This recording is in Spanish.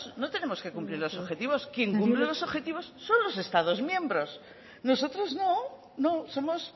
no tenemos que cumplir los objetivos quien cumple los objetivos son los estados miembros nosotros no no somos